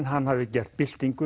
hafði gert